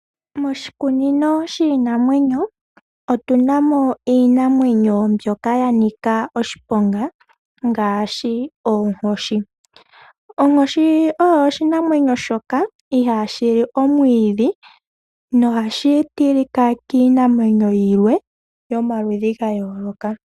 Moshikunino shiinamwenyo otuna mo iinamwnenyo mbyoka yanika oshiponga ngaashi oonkoshi. Onkoshi oyo oshinamwneyo shoka ihashi li omwidhi na ohashi tilika kiinamwneyo yilwe yomaludhi gayooloka.